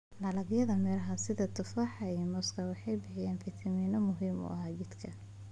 Dalagyada miraha sida tufaaxa iyo muuska waxay bixiyaan fiitamiinno muhiim ah jidhka.